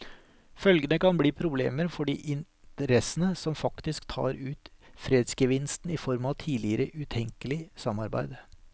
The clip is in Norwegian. Følgene kan bli problemer for de interessene som faktisk tar ut fredsgevinsten i form av tidligere utenkelig samarbeid.